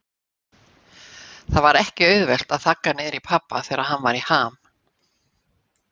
Það var ekki auðvelt að þagga niður í pabba þegar hann var í ham.